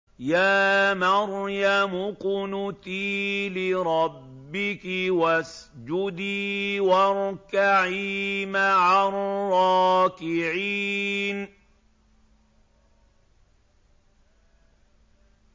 يَا مَرْيَمُ اقْنُتِي لِرَبِّكِ وَاسْجُدِي وَارْكَعِي مَعَ الرَّاكِعِينَ